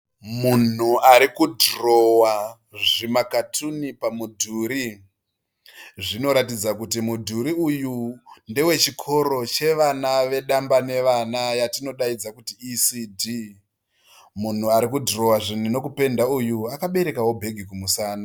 Munhu ari kudhirowa zvimakatuni pamudhuri zvinoratidza kuti midhuri uyu ndewe chikoro chevana vedamba nevana vatinodaidza kuiti ecd. munhu uyu arikudhirowa akaberekawo bhegi kumusana.